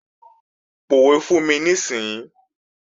Pòwe fún mi níìsín!